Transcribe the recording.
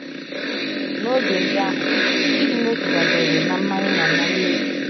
N’oge ndị ahụ, ịdị n’otu dabeere ná mmanye na ná mmeri.